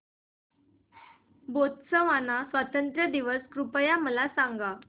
Botswana स्वातंत्र्य दिन कृपया मला सांगा